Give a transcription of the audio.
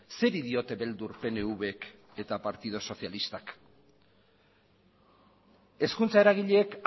zeri diote beldur pnvk eta partidu sozialistak hezkuntza eragileek